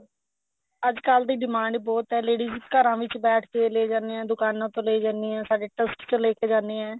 ਅੱਜਕਲ ਦੀ demand ਬਹੁਤ ਐ ladies ਘਰਾਂ ਵਿੱਚ ਬੈਠ ਕੇ ਲਏ ਜਾਂਦੇ ਆ ਦੁਕਾਨਾ ਤੋਂ ਲਏ ਜਾਂਦੇ ਆ ਸਾਡੇ trust ਚੋ ਲੇਕੇ ਜਾਨੇ ਐ